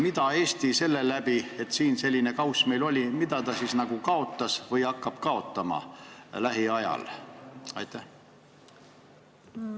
Mida Eesti seetõttu, et meil siin selline kauss oli, kaotas või hakkab lähiajal kaotama?